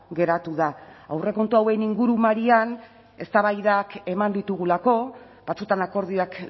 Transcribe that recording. geratu da aurrekontu hauen ingurumarian eztabaidak eman ditugulako batzuetan akordioak